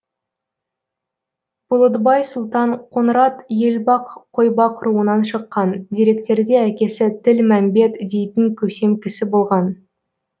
бұлытбай сұлтан қоңырат елбақ қойбақ руынан шыққан деректерде әкесі тілмәмбет дейтін көсем кісі болған